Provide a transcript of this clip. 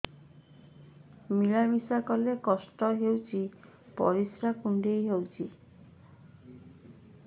ମିଳା ମିଶା କଲେ କଷ୍ଟ ହେଉଚି ପରିସ୍ରା କୁଣ୍ଡେଇ ହଉଚି